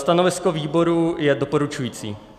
Stanovisko výboru je doporučující.